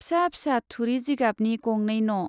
फिसा फिसा थुरि जिगाबनि गंनै न'।